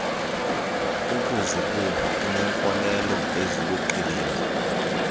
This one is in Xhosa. ukuzibumba uneenkolelo eziluqilima